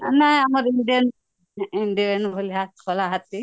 ନ ଆମ indian ଭଳି କଲା ହାତୀ